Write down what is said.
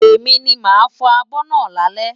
Èmi ni màá fọ abọ́ náà lálẹ́.